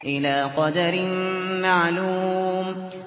إِلَىٰ قَدَرٍ مَّعْلُومٍ